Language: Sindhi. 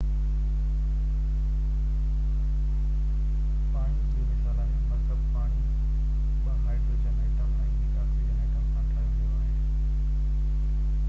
پاڻي هڪ ٻيو مثال آهي مرڪب پاڻي ٻہ هائدروجن ايٽم ۽ هڪ آڪسيجن ايٽم سان ٺاهيو ويو آهي